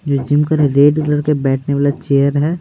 ये red colour के बैठने वाला चेयर है।